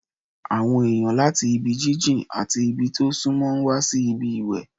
Àwọn èèyàn láti ibi jíjìn àti ibi tí ó súnmọ́ ń wá síbi ìwẹ̀